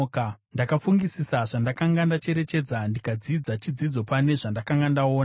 Ndakafungisisa zvandakanga ndacherechedza ndikadzidza chidzidzo pane zvandakanga ndaona.